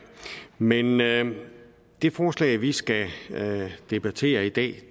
men men det forslag vi skal debattere i dag